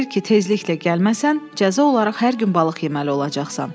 Deyir ki, tezliklə gəlməsən, cəza olaraq hər gün balıq yeməli olacaqsan.